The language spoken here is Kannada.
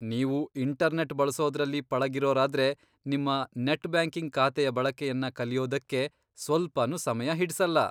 ನೀವು ಇಂಟರ್ನೆಟ್ ಬಳಸೋದ್ರಲ್ಲಿ ಪಳಗಿರೋರಾದ್ರೆ, ನಿಮ್ಮ ನೆಟ್ ಬ್ಯಾಂಕಿಂಗ್ ಖಾತೆಯ ಬಳಕೆಯನ್ನ ಕಲಿಯೋದಕ್ಕೆ ಸ್ವಲ್ಪನೂ ಸಮಯ ಹಿಡಿಸಲ್ಲ.